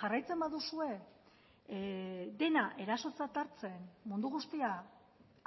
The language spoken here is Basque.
jarraitzen baduzue dena erasotzat hartzen mundu guztia